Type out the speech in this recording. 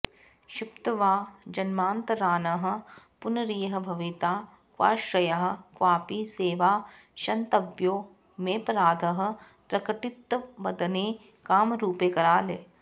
क्षिप्त्वा जन्मान्तरान्नः पुनरिह भविता क्वाश्रयः क्वापि सेवा क्षन्तव्यो मेपराधः प्रकटितवदने कामरूपे कराले